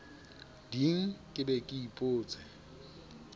ding ke be ke ipotse